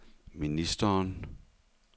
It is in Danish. ministeren